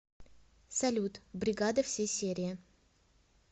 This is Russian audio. салют бригада все серии